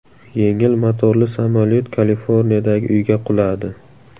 Yengil motorli samolyot Kaliforniyadagi uyga quladi.